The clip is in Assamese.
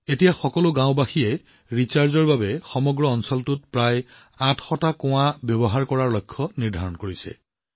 এতিয়া সকলো গাঁওবাসীয়ে সমগ্ৰ অঞ্চলটোৰ প্ৰায় ৮০০টা কূপ পুনৰ ভৰ্তিৰ বাবে ব্যৱহাৰ কৰাৰ লক্ষ্য নিৰ্ধাৰণ কৰিছে